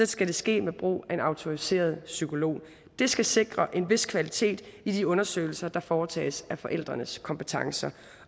skal det ske med brug af en autoriseret psykolog det skal sikre en vis kvalitet i de undersøgelser der foretages af forældrenes kompetencer